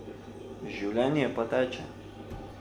Življenje pa teče...